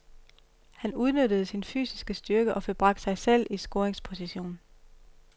Han udnyttede sin fysiske styrke og fik bragt sig selv i scoringsposition.